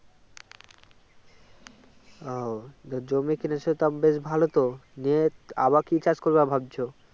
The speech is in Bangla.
ও জমি কিনেছে তো বেশ ভালো তো নিয়ে আবার কি কাজ করবে ভাবছ